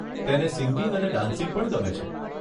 તેને સિંગિંગ અને ડાન્સિંગ પણ ગમે છે.